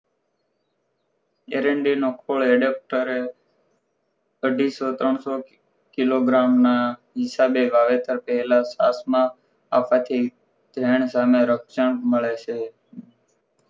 આરંડી નો ખોળ્ adapter એ અઢીસો ત્રણસો કિલોગ્રામ ના હિસાબે વાવેતર પહેલા છાસ માં આપવાથી ધયન સામે રક્ષણ મળે છે